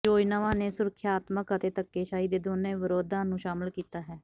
ਯੋਜਨਾਵਾਂ ਨੇ ਸੁਰਖਿਆਤਮਕ ਅਤੇ ਧੱਕੇਸ਼ਾਹੀ ਦੇ ਦੋਨੋ ਵਿਰੋਧਾਂ ਨੂੰ ਸ਼ਾਮਲ ਕੀਤਾ ਹੈ